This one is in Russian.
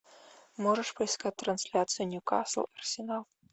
можешь поискать трансляцию ньюкасл арсенал